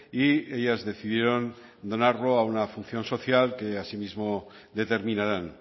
y ellas decidieron donarlo a una función social que asimismo determinarán